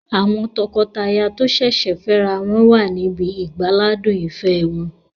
Àwọn tọkọtaya tó sẹ̀sẹ̀ fẹ́ ra wọn wà níbi ìgbáládùn ìfẹ́ wọn